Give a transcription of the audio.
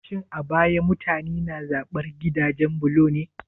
Shin a baya mutane na zaɓar gidajen bulo ne?